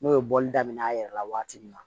N'o ye bɔli daminɛ a yɛrɛ la waati min na